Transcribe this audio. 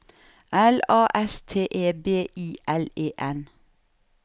L A S T E B I L E N